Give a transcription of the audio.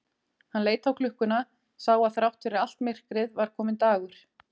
Hann leit á klukkuna, sá að þrátt fyrir allt myrkrið var kominn dagur.